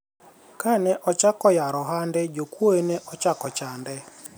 kane ochako yaro ohande, jokuoye ne ochako chande